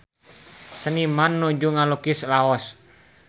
Seniman nuju ngalukis Laos